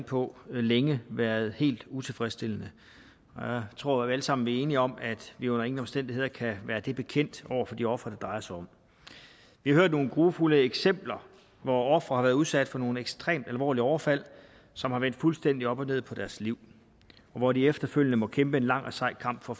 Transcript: på længe været helt utilfredsstillende jeg tror vi alle sammen enige om at vi under ingen omstændigheder kan være det bekendt over for de ofre det drejer sig om vi hører nogle grufulde eksempler hvor ofre har været udsat for nogle ekstremt alvorlige overfald som har vendt fuldstændig op og ned på deres liv og hvor de efterfølgende må kæmpe en lang og sej kamp for